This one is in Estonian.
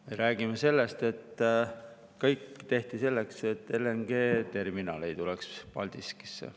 Me räägime sellest, et kõik tehti selleks, et LNG-terminal ei tuleks Paldiskisse.